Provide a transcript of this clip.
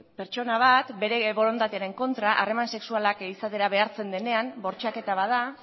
pertsona bat bere borondatearen kontra harreman sexualak izatera behartzen denean bortxaketa bat da